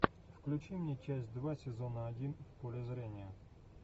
включи мне часть два сезона один в поле зрения